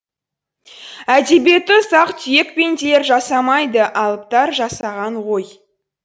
әдебиетті ұсақ түйек пенделер жасамайды алыптар жасаған ғой